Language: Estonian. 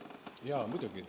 Jaa, muidugi.